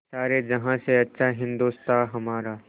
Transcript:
सारे जहाँ से अच्छा हिन्दोसिताँ हमारा